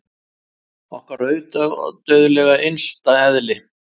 Okkar ódauðlega innsta eðli!